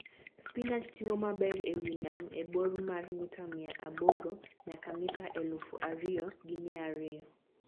.Spinach timo maber e wi nam e bor mar mita mia aboro nyaka mita elufu ariyo gi mia ariyo